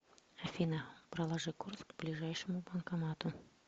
афина проложи курс к ближайшему банкомату